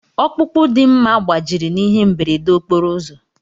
Ọkpụkpụ Dimma gbajiri n'ihe mberede okporo ụzọ.